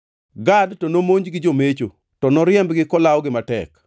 “Gad to nomonj gi jomecho, to noriembgi kolawogi matek.